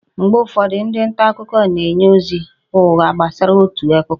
Mgbe ụfọdụ, ndị nta akụkọ na-enye ozi ụgha gbasara otu akụkọ